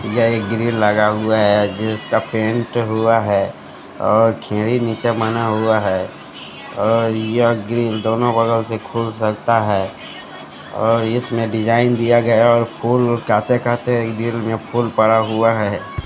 यह एक ग्रिल लगा हुआ है जिसका पेंट हुआ है और घिरी नीचे बना हुआ है और यह ग्रिल दोनो बगल से खुल सकता है और इसमें डिजाइन दिया गया और फूल कहते कहते ग्रिल में फूल पड़ा हुआ है।